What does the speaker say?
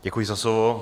Děkuji za slovo.